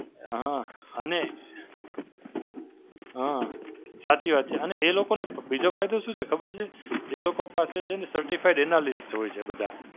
હાં, અને હાં સાચી વાત છે અને એ લોકોને બીજો ફાયદો શું છે? ખબર છે? એ લોકો પાસે Certified Analyst હોય છે બધાં.